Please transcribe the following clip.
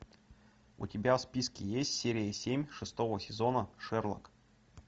у тебя в списке есть серия семь шестого сезона шерлок